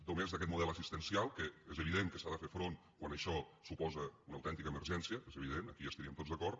només d’aquest model assistencial que és evident que s’hi ha de fer front quan això suposa una autèntica emergència és evident aquí hi estaríem tots d’acord